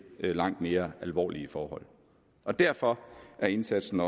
langt mere alvorlige forhold og derfor er indsatsen